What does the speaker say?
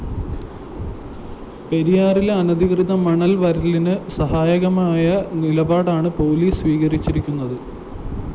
പെരിയാറിലെ അനധികൃത മണല്‍വരലിന് സഹായകമായ നിലപാടാണ് പോലീസ് സ്വീകരിച്ചിരുന്നത്